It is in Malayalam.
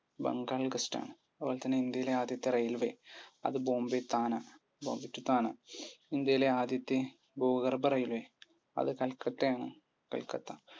ബംഗാൾ ഗസ്റ്റാണ്. അതുപോലെത്തന്നെ ഇന്ത്യയിലെ ആദ്യത്തെ railway അത് ബോംബെ താന. ബോംബെ to താന. ഇന്ത്യയിലെ ആദ്യത്തെ ഭൂഗർഭ railway അത് കൽക്കട്ടയാണ് കൽക്കട്ട